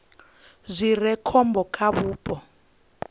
zwi re khombo kha vhupo